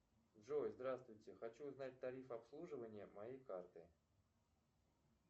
джой здравствуйте хочу узнать тариф обслуживания моей карты